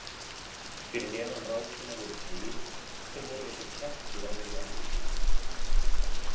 Fyrir neðan rákina voru dyr sem voru eins og kjaftur á þessu andliti.